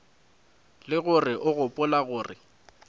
le gore o gopola gore